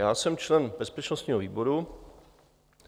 Já jsem člen bezpečnostního výboru.